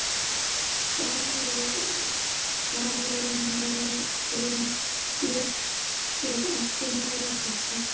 Baróninn lét sér ekki nægja þetta.